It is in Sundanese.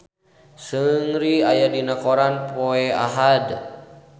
Seungri aya dina koran poe Ahad